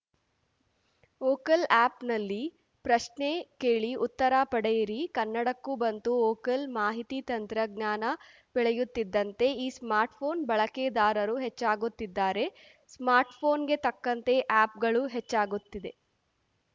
vocal ಆ್ಯಪ್‌ನಲ್ಲಿ ಪ್ರಶ್ನೆ ಕೇಳಿ ಉತ್ತರ ಪಡೆಯಿರಿ ಕನ್ನಡಕ್ಕೂ ಬಂತು ವೋಕಲ್‌ ಮಾಹಿತಿ ತಂತ್ರಜ್ಞಾನ ಬೆಳೆಯುತ್ತಿದ್ದಂತೆ ಈ ಸ್ಮಾರ್ಟ್‌ಫೋನ್‌ ಬಳಕೆದಾರರೂ ಹೆಚ್ಚಾಗುತ್ತಿದ್ದಾರೆ ಸ್ಮಾರ್ಟ್‌ಫೋನ್‌ಗೆ ತಕ್ಕಂತೆ ಆ್ಯಪ್‌ಗಳೂ ಹೆಚ್ಚಾಗುತ್ತಿದೆ